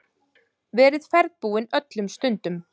Verið ferðbúinn öllum stundum.